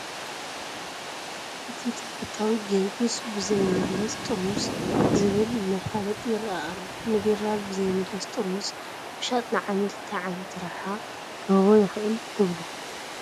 እቲ ተፈታዊ ጊዮርጊስ በዘይምለስ ጥርሙዝ ዝብል መፋለጢ ይርአ ኣሎ፡፡ ንቢራ ብዘይምለስ ጥርሙዝ ምሻጥ ንዓሚል እንታይ ዓይነት ረብሓ ክህቦ ይኽእል ትብሉ?